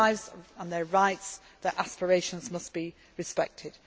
Their lives, their rights and their aspirations must be respected.